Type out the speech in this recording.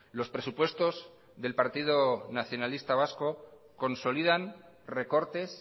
los presupuestos del partido nacionalista vasco consolidan recortes